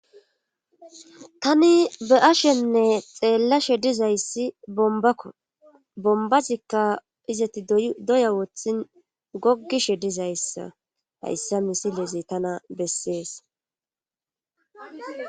Tani be ashenne xeellashe dizayssi bombakko bombazikka izati doya wothin gogishe dizayssa hayssa misilezy tana bessees.